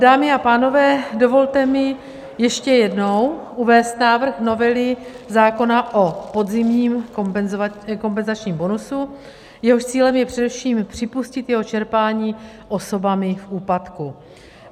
Dámy a pánové, dovolte mi ještě jednou uvést návrh novely zákona o podzimním kompenzačním bonusu, jehož cílem je především připustit jeho čerpání osobami v úpadku.